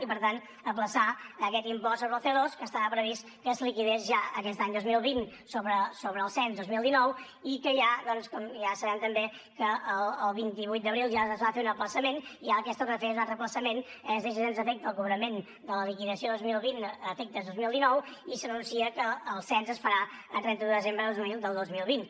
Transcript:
i per tant ajornar aquest impost sobre el coliquidés ja aquest any dos mil vint sobre el cens dos mil dinou i que ja com ja sabem també el vint vuit d’abril ja es va fer un ajornament i ara el que es torna a fer és un altre ajornament es deixa sense efecte el cobrament de la liquidació dos mil vint a efectes dos mil dinou i s’anuncia que el cens es farà a trenta un de desembre del dos mil vint